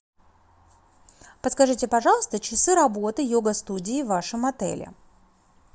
подскажите пожалуйста часы работы йога студии в вашем отеле